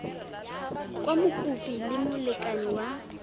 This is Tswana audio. kwa mokopi le molekane wa